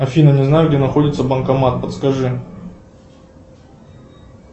афина не знаешь где находится банкомат подскажи